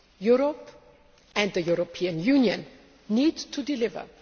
Europe and the European Union need to deliver.